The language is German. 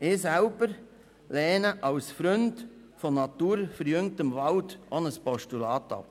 Ich selber lehne als Freund von naturverjüngtem Wald auch ein Postulat ab.